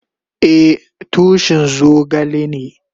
Eh, tushin zogale ne.